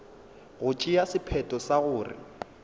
go tšea sephetho sa gore